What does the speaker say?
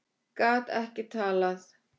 Gat ekki talað.